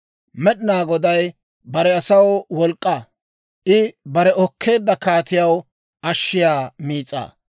Med'inaa Goday bare asaw wolk'k'aa; I bare okkeedda kaatiyaa ashshiyaa miis'aa.